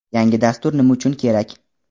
yangi dastur nima uchun kerak?.